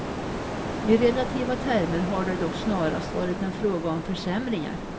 I relativa termer har det dock snarast varit en fråga om försämringar.